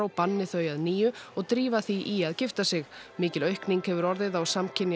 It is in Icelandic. banni þau að nýju og drífa því í að gifta sig mikil aukning hefur orðið á samkynja